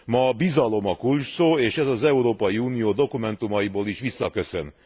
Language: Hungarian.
Ma a bizalom a kulcsszó, és ez az Európai Unió dokumentumaiból is visszaköszön.